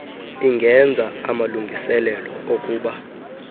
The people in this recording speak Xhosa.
ingenza amalungiselelo okuba